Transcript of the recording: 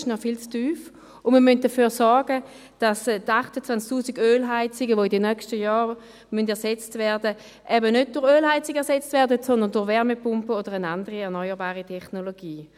Diese sind noch viel zu tief, und wir müssen dafür sorgen, dass die 28 000 Ölheizungen, die in den nächsten Jahren ersetzt werden müssen, eben nicht durch Ölheizungen ersetzt werden, sondern durch Wärmepumpen oder eine andere erneuerbare Technologie.